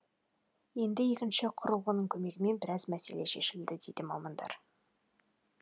енді екінші құрылғының көмегімен біраз мәселе шешіледі дейді мамандар